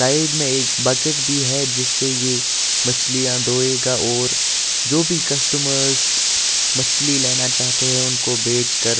Side में एक bucket भी है जिससे ये मछलियाँ धोएगा और जो भी कस्टमर्स मछली लेना चाहते हैं उनको बेचकर।